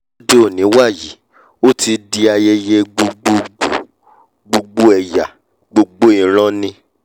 lóde òní wàyí ó ti di ayẹyẹ gbogbo gbòò gbogbo ẹ̀yà gbogbo ìran ni